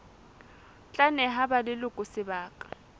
tla neha ba leloko sebaka